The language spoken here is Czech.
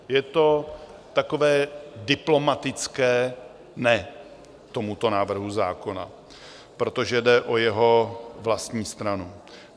Je to takové diplomatické "ne" tomuto návrhu zákona, protože jde o jeho vlastní stranu.